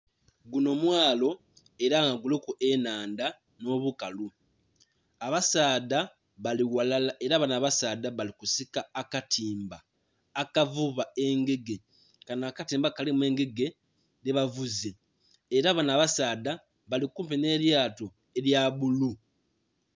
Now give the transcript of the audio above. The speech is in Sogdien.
Gunho mwalo era nga guliku ennhandha nh'obukalu. Abasaadha bali ghalala era banho abasaadha bali kusika akatimba akavuba engege, kanho akatimba kalimu engege dhe bavuze. Era banho abasaadha bali kumpi nh'elyato elya bbulu.